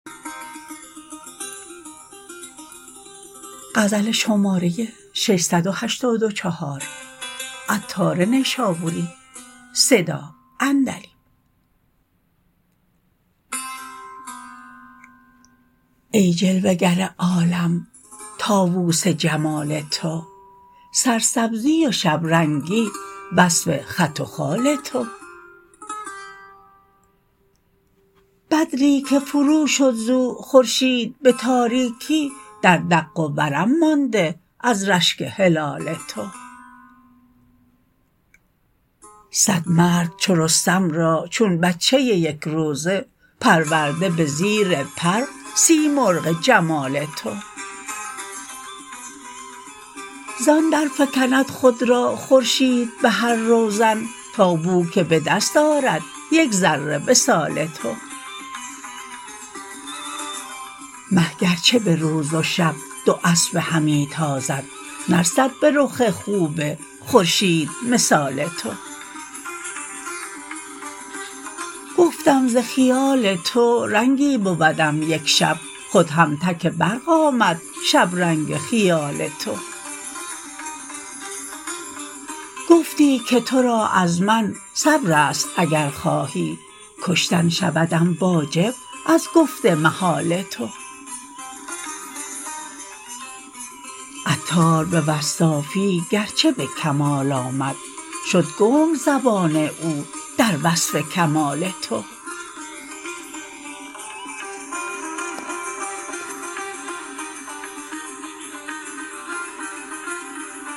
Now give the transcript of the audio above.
ای جلوه گر عالم طاوس جمال تو سرسبزی و شب رنگی وصف خط و خال تو بدری که فرو شد زو خورشید به تاریکی در دق و ورم مانده از رشک هلال تو صد مرد چو رستم را چون بچه یک روزه پرورده به زیر پر سیمرغ جمال تو زان درفکند خود را خورشید به هر روزن تا بو که به دست آرد یک ذره وصال تو مه گرچه به روز و شب دواسبه همی تازد نرسد به رخ خوب خورشید مثال تو گفتم ز خیال تو رنگی بودم یک شب خود هم تک برق آمد شبرنگ خیال تو گفتی که تو را از من صبر است اگر خواهی کشتن شودم واجب از گفت محال تو عطار به وصافی گرچه به کمال آمد شد گنگ زبان او در وصف کمال تو